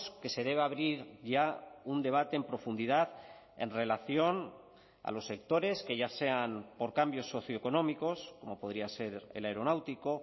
que se debe abrir ya un debate en profundidad en relación a los sectores que ya sean por cambios socioeconómicos como podría ser el aeronáutico